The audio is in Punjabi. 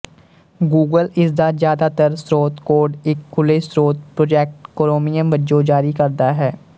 ਗੂਗਲ ਇਸ ਦਾ ਜ਼ਿਆਦਾਤਰ ਸਰੋਤ ਕੋਡ ਇੱਕ ਖੁੱਲ੍ਹੇਸਰੋਤ ਪ੍ਰਾਜੈਕਟ ਕ੍ਰੋਮੀਅਮ ਵਜੋਂ ਜਾਰੀ ਕਰਦਾ ਹੈ